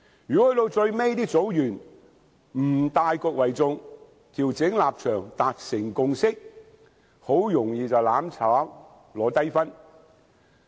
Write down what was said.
如果組員在最後不以大局為重，調整立場，達成共識，很容易便會"攬炒"，拿低分。